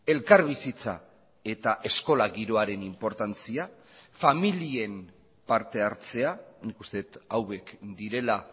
elkarbizitza eta eskola giroaren inportantzia familien parte hartzea nik uste dut hauek direla